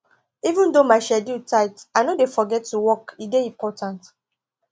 even though my schedule tight i no dey forget to walk e dey important